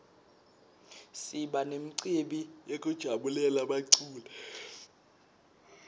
siba memcibi yekujabulela baculi